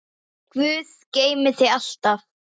Guð geymi þig alltaf.